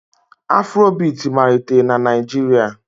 Afrobiiti malitere na Naịjirịa